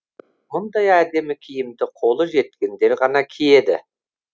мұндай әдемі киімді қолы жеткендер ғана киеді